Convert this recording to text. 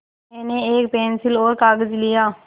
मैंने एक पेन्सिल और कागज़ लिया